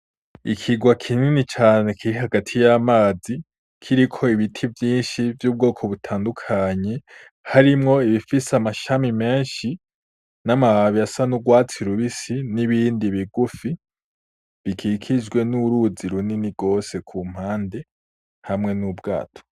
Ikirwa kinini cane kiri hagati y’amazi kiriko ibiti vyinshi vy’ubwoko butandukanye, harimwo ibifise amashami menshi n’amababi asa n’urwatsi rubisi, n’ibindi bigufi bikikijwe n’uruzi runini gose hamwe n’ubwato.